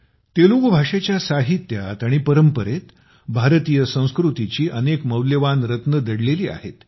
तेलुगू भाषेच्या साहित्यात आणि परंपरेत भारतीय संस्कृतीची अनेक मौल्यवान रत्ने दडलेली आहेत